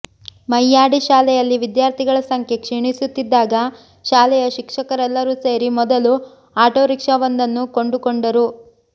ಮಯ್ಯಾಡಿ ಶಾಲೆಯಲ್ಲಿ ವಿದ್ಯಾರ್ಥಿಗಳ ಸಂಖ್ಯೆ ಕ್ಷೀಣಿಸುತ್ತಿದ್ದಾಗ ಶಾಲೆಯ ಶಿಕ್ಷಕರೆಲ್ಲರೂ ಸೇರಿ ಮೊದಲು ಆಟೋ ರಿಕ್ಷಾವೊಂದನ್ನು ಕೊಂಡುಕೊಂಡರು